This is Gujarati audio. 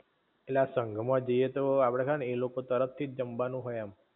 ઍટલે આ સંઘ માં જાઇ એ તો આપડે કા ને એ લોકો તરફ થી જ જમવાનુ હોય એમ?